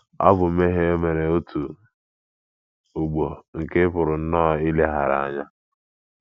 Ọ̀ bụ mmehie o mere otu ugbo nke ị pụrụ nnọọ ileghara anya?